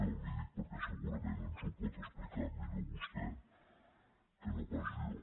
li ho dic perquè segu·rament ens ho pot explicar millor vostè que no pas jo